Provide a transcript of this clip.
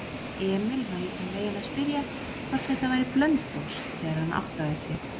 Emil var í þann veginn að spyrja hvort þetta væri Blönduós, þegar hann áttaði sig.